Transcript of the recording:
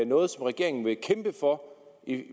noget som regeringen vil kæmpe for